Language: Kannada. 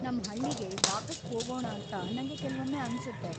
ನಮ್‌ ಹಳ್ಳಿಗೆ ವಾಪೀಸ್‌ ಹೋಗೊಂ ಅಂತ ನಂಗೆ ಕೆಲ್ವೊಮ್ಮೆ ಅನ್ಸುತ್ತೆ.